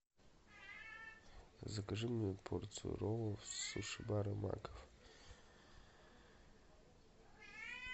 закажи мне порцию роллов с суши бара маков